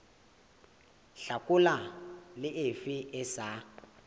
hlakola le efe e sa